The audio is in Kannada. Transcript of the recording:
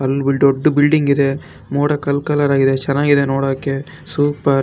ಎಲ್ಲ ದೊಡ್ಡ್ ಬಿಲ್ಡಿಂಗ್ ಇದೆ ಮೋಡ ಕಲ್-ಕಲರ್ ಆಗಿದೆ ಚೆನ್ನಾಗಿದೆ ನೋಡೋಕೆ ಸೂಪರ್ .